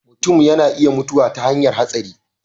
mutum ya na iya mutuwa ta hanyan hatsari